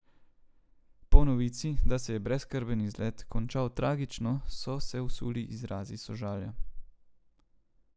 Po novici, da se je brezskrben izlet končal tragično, so se usuli izrazi sožalja.